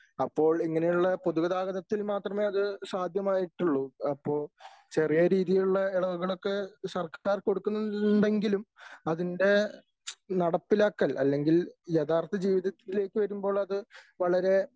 അപ്പോൾ ഇങ്ങനെയുള്ള പൊതുഗതാഗതത്തിൽ മാത്രമേ അത് സാധ്യമായിട്ടുള്ളൂ. അപ്പോ ചെറിയ രീതിയിലുള്ള ഇളവുകളൊക്കെ സർക്കാർ കൊടുക്കുന്നുണ്ടെങ്കിലും അതിന്റെ നടപ്പിലാക്കൽ അല്ലെങ്കിൽ യഥാർഥ ജീവിതത്തിലേക്ക് വരുമ്പോൾ അത് വളരെ